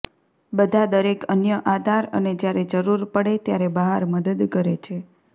બધા દરેક અન્ય આધાર અને જ્યારે જરૂર પડે ત્યારે બહાર મદદ કરે છે